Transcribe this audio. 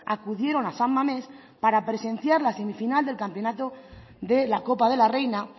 acudieron a san mamés para presenciar la semifinal del campeonato de la copa de la reina